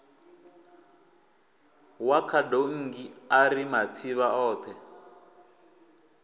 wa khadonngi ari matsivha othe